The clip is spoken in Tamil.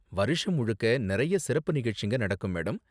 வருஷம் முழுக்க நறைய சிறப்பு நிகழ்ச்சிங்க நடக்கும், மேடம்.